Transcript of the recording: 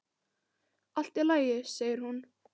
Allt í lagi, segir hún.